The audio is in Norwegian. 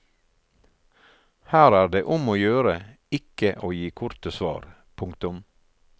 Her er det om å gjøre ikke å gi korte svar. punktum